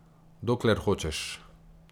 Dokler hočeš.